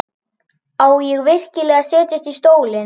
Átti ég virkilega að setjast í stólinn?